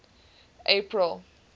april